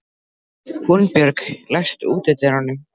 Húnbjörg, læstu útidyrunum.